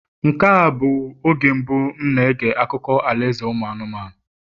Nke a bụ oge mbụ m na-ege akụkọ alaeze ụmụ anụmanụ